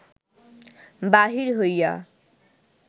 বাহির হইয়া